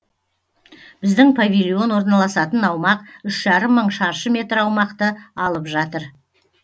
біздің павильон орналасатын аумақ үш жарым мың шаршы метр аумақты алып жатыр